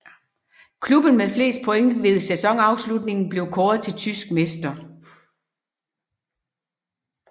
Klubben med flest point ved sæsonafslutningen bliver kåret til tysk mester